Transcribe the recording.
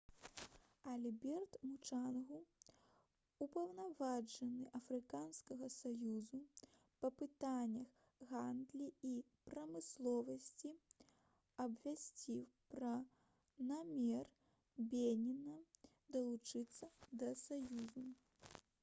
альберт мучанга упаўнаважаны афрыканскага саюзу па пытаннях гандлі і прамысловасці абвясціў пра намер беніна далучыцца да саюзу